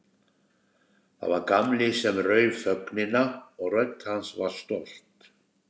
Það var Gamli sem rauf þögnina og rödd hans var stolt.